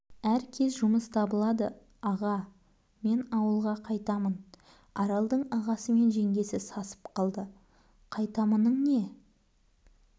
әр кез жұмыс табылады аға мен ауылға қайтамын аралдың ағасы мен жеңгесі сасып қалды қайтамының не